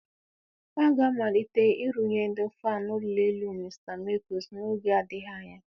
A ga-amalite nrụnye ndị fan ụlọ elu Mr Mekus n'oge adịghị anya.